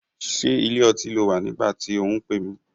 Ṣé ilé ọtí ló wà nígbà tí ò ń pè mí?